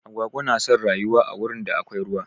Agwagwa na son rayuwa a wurin da akwai ruwa.